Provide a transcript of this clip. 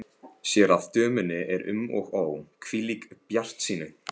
Sér að dömunni er um og ó, hvílík bjartsýni!